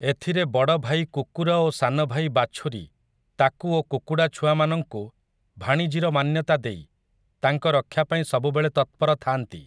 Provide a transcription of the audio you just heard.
ଏଥିରେ ବଡ଼ଭାଇ କୁକୁର ଓ ସାନଭାଇ ବାଛୁରୀ ତାକୁ ଓ କୁକୁଡ଼ା ଛୁଆମାନଙ୍କୁ ଭାଣିଜୀର ମାନ୍ୟତା ଦେଇ ତାଙ୍କ ରକ୍ଷା ପାଇଁ ସବୁବେଳେ ତତ୍ପର ଥାଆନ୍ତି ।